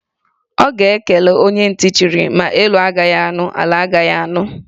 Ọ ga-ekele onye ntị chiri; ma elu anụghị, ala ga-anụ